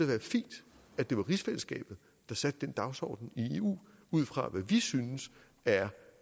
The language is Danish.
være fint at det var rigsfællesskabet der satte den dagsorden i eu ud fra hvad vi synes er